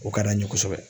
O ka d'an ye kosɛbɛ